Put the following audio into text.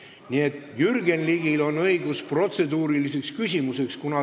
Nii et Jürgen Ligil on õigus protseduuriliseks küsimuseks.